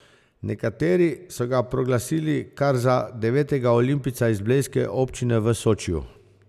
Nekateri so ga proglasili kar za devetega olimpijca iz blejske občine v Sočiju.